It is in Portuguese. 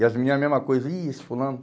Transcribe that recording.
E as menina a mesma coisa, ih, esse fulano.